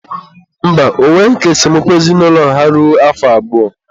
mba, ọ nweghị ka esemokwu ezinaụlọ ha ruo afọ abụọ.